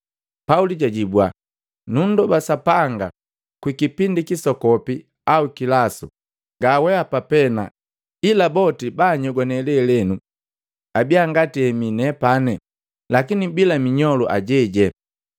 Pauli jajibwa, “Nundoba Sapanga kwa kipindi kisokopi au kilasu, nga weapa pena, ila boti baanyogwane lelenu abia ngati hemi nepani, lakini bilaminyolu ajejee.”